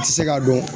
A tɛ se ka dɔn